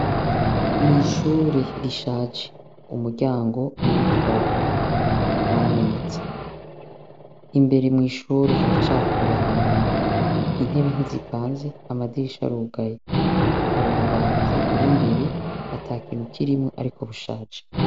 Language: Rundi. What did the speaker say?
Mwishure rishaje, umuryango nuwikibaho warameneste, imbere mwishure haracafuye hari umwanda intebe ntizipanze amadirisha arugaye harububati buri imbere atakintu kirimwo ariko bushaje.